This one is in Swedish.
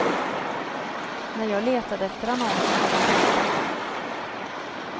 När jag letade efter annonsen var den borta.